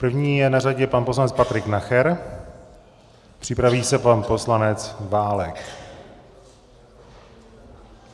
První je na řadě pan poslanec Patrik Nacher, připraví se pan poslanec Válek.